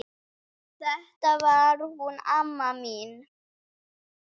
Þetta var hún amma mín.